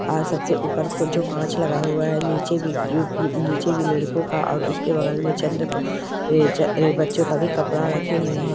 आज सबसे ऊपर जो कांच लगा हुआ है नीचे भी नीचे भी लड़को का और उसके बगल में बच्चो का भी कपडा रखे हुए है।